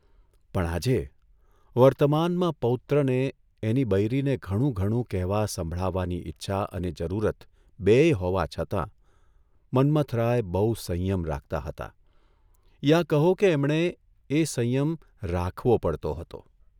પણ આજે, વર્તમાનમાં પૌત્રને, એની બૈરીને ઘણું ઘણું કહેવા સંભળાવવાની ઇચ્છા અને જરૂરત બેય હોવા છતાં મન્મથરાય બહુ સંયમ રાખતા હતા યા કહો કે એમણે એ સંયમ રાખવો પડતો હતો.